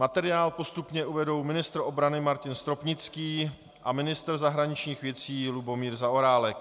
Materiál postupně uvedou ministr obrany Martin Stropnický a ministr zahraničních věcí Lubomír Zaorálek.